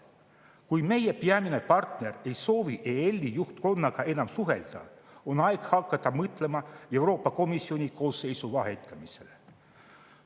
Kui meie peamine partner ei soovi EL-i juhtkonnaga enam suhelda, on aeg hakata mõtlema Euroopa Komisjoni koosseisu vahetamisele.